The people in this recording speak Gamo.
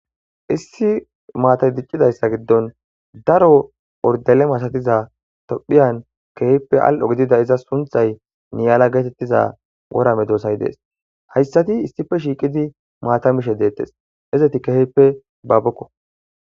Issi maata diccidayssa giddon daro orudalle masatiza tophphiyan keehippe al'o gidida iza sunththay niyala geetettiza woora medoosay dees hayssati issippe shiiqqidi maata mishshe deettes izeti keehippe baabokko